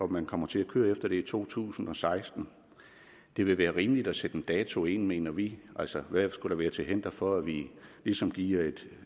man kommer til at køre efter det i to tusind og seksten det vil være rimeligt at sætte en dato ind mener vi altså hvad skulle være til hinder for at vi ligesom giver et